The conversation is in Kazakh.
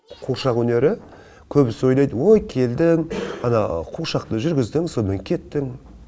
қуыршақ өнері көбісі ойлайды ой келдің ана қуыршақты жүргіздің сонымен кеттің